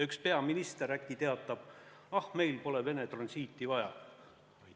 Üks peaminister äkki teatab: ah, meil pole Vene transiiti vaja!